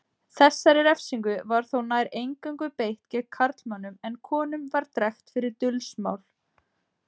Þessari refsingu var þó nær eingöngu beitt gegn karlmönnum en konum var drekkt fyrir dulsmál.